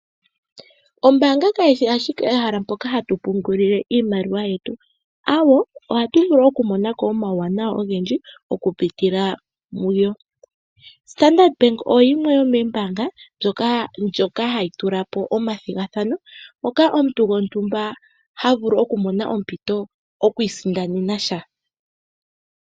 Ombaanga kayi shi ashike ehala moka hatu pungula iimaliwa yetu. Ohatu vulu okumona ko omauwanawa ogendji okupitila muyo. Standadard Bank oyo yimwe yomoombaanga hadhi tula po omathigathano moka omuntu gontumba ha vulu okumona ompito oku isindanena sha.